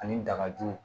Ani dagaju